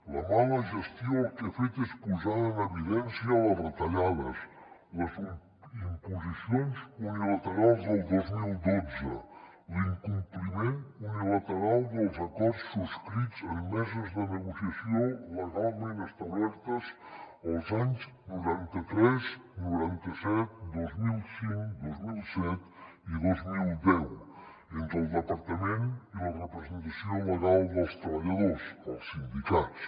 la mala gestió el que ha fet és posar en evidència les retallades les imposicions unilaterals del dos mil dotze l’incompliment unilateral dels acords subscrits en meses de negociació legalment establertes els anys noranta tres noranta set dos mil cinc dos mil set i dos mil deu entre el departament i la representació legal dels treballadors els sindicats